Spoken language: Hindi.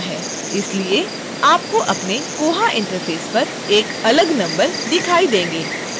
इसलिए आपको अपने koha interface पर एक अलग नंबर दिखाई देंगे